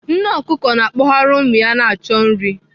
Nne ọkụkọ na-akpọgharị ụmụ ya achọ nri.